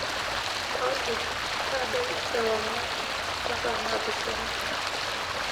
olly ntadoi ewangan mpaka naapishana